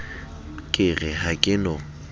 ke re ha ke no